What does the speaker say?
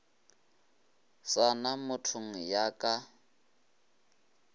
sa na mothogo ya ka